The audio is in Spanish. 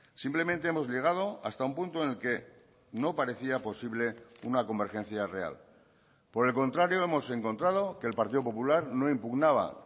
simplemente hemos llegado hasta un punto en el que no parecía posible una convergencia real por el contrario hemos encontrado que el partido popular no impugnaba